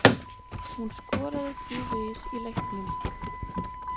Hún skoraði tvívegis í leiknum.